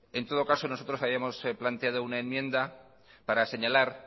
en todo caso nosotros habíamos planteado una enmienda para señalar